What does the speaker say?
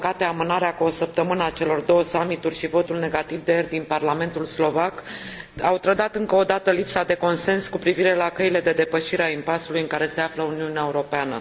Din păcate, amânarea cu o săptămână a celor două summituri și votul negativ de ieri din Parlamentul slovac au trădat încă o dată lipsa de consens cu privire la căile de depășire a impasului în care se află Uniunea Europeană.